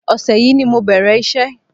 Ọṣẹ yìí ni mo bẹ̀rẹ̀ iṣẹ́